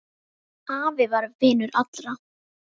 Afi var vinur allra.